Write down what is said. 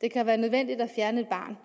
det kan være nødvendigt at fjerne et barn